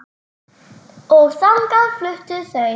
Og þangað fluttu þau.